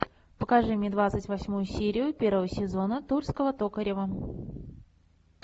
покажи мне двадцать восьмую серию первого сезона тульского токарева